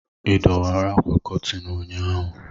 ị dọwara ákwà Kọtịn ụnyaahụ?